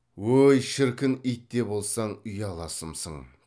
ой шіркін ит те болсаң ұяласымсың